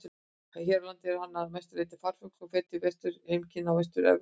Hér á landi er hann að mestu leyti farfugl og fer til vetrarheimkynna í Vestur-Evrópu.